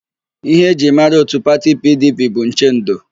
Íhé e ji mara ndị òtù pati PIiDIiPIi bụ nchendo.